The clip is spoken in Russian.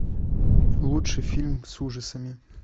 лучший фильм с ужасами